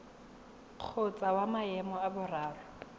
kgotsa wa maemo a boraro